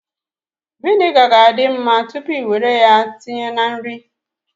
Viniga ga-adi mma tupu i nwere ya tinye na nri